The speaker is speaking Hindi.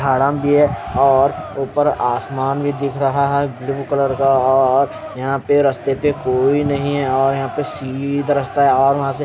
भी है और ऊपर आसमान भी दिख रहा है ब्ल्यू कलर का और यहां पे रस्ते पे कोई नहीं है और यहां पे सीधा रास्ता है और वहा से--